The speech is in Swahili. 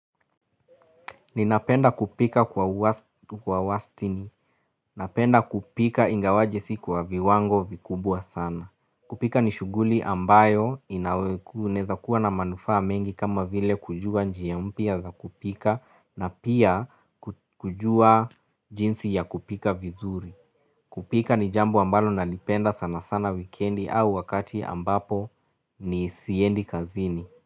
Ninapenda kupika kwa wasstini. Napenda kupika ingawaje si kwa viwango vikubwa sana. Kupika ni shuguli ambayo inawekuneza kuwa na manufa mengi kama vile kujua njiya mpya za kupika na pia kujua jinsi ya kupika vizuri. Kupika ni jambo ambalo nalipenda sana sana wikendi au wakati ambapo ni siendi kazini.